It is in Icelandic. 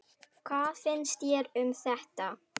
Hvað finnst þér um þetta?